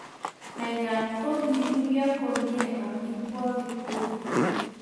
mekat ko kirurio komye amitwogik tugul